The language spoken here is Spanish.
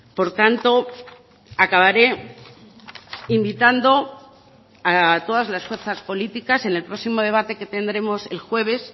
por tanto acabaré invitando a todas las fuerzas políticas en el próximo debate que tendremos el jueves